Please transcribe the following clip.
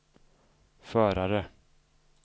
förare